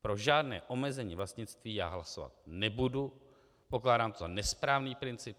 Pro žádné omezení vlastnictví já hlasovat nebudu, pokládám to za nesprávný princip.